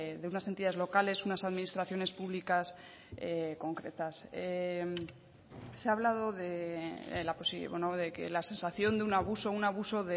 de unas entidades locales unas administraciones públicas concretas se ha hablado de que la sensación de un abuso un abuso